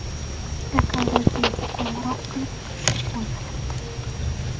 Ekologiyaga qo‘ng‘iroq qilib tushib bo‘lmayapti.